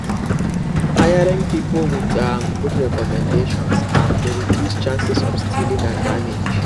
hiring people with um good recommendations um dey reduce chances of stealing and damage